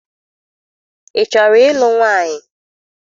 Ị chọrọ ịlụ nwaanyị?